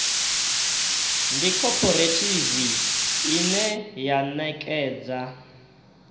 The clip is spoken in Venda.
ndi khophorethivi ine ya ṋekedza